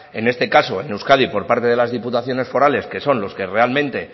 en este caso en euskadi por parte de las diputaciones forales que son los que realmente